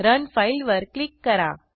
run file वर click करा